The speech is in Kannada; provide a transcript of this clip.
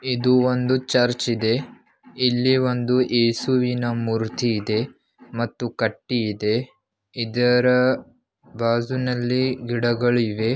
ಇದು ಒಂದು ಚರ್ಚ್ ಇದೆ ಇಲ್ಲಿ ಒಂದು ಏಸುವಿನ ಮೂರ್ತಿ ಇದೆ ಮತ್ತು ಕಟ್ಟಿ ಇದೆ ಇದರ ಬಾಜೂನಲ್ಲಿ ಗಿಡಗಳಿವೆ.